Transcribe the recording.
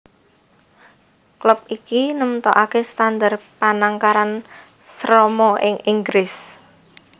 Klub iki nemtokaké standar panangkaran Serama ing Inggris